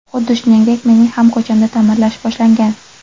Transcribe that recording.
Xuddi shuningdek, mening ham ko‘chamda ta’mirlash boshlangan.